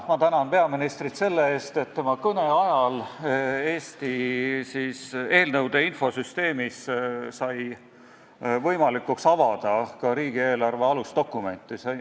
Ma tänan peaministrit selle eest, et tema kõne ajal oli eelnõude infosüsteemis võimalik avada ka riigieelarve alusdokumenti.